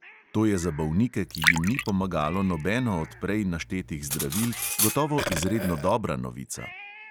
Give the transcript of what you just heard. To je za bolnike, ki jim ni pomagalo nobeno od prej naštetih zdravil, gotovo izredno dobra novica.